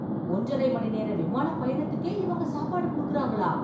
ஒன்றரை மணி நேர விமானப் பயணத்துக்கே இவங்க சாப்பாடு குடுக்கறாங்களா!